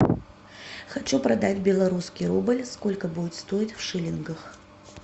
хочу продать белорусский рубль сколько будет стоить в шиллингах